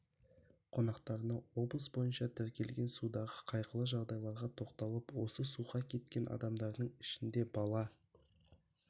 қонақтарына облыс бойынша тіркелген судағы қайғылы жағдайларға тоқталып осы суға кеткен адамдардың ішінде бала